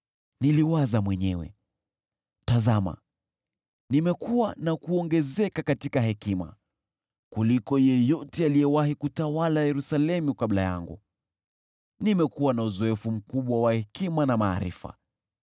Niliwaza mwenyewe, “Tazama, nimekua na kuongezeka katika hekima kuliko yeyote aliyewahi kutawala Yerusalemu kabla yangu. Nimekuwa na uzoefu mkubwa wa hekima na maarifa.”